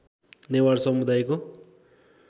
नेवार समुदायको